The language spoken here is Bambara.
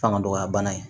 Fanga dɔgɔya bana in